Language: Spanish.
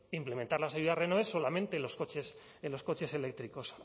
implementar las ayudas renove solamente en los coches eléctricos